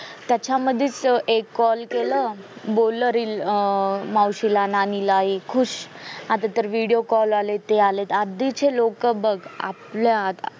त्याच्य मधी एक call केला बोल reel अं मावशी ला नाणी ला हे खुश आता तर video call ते आले आधी चे लोंक बग आपल्यात